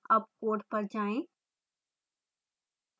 अब code पर जाएँ